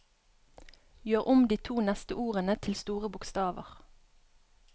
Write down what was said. Gjør om de to neste ordene til store bokstaver